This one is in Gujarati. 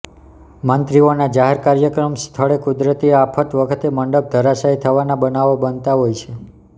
મંત્રીઓના જાહેર કાર્યક્રમ સ્થળે કુદરતી આફત વખતે મંડપ ધરાશયી થવાના બનાવો બનતા હોય છે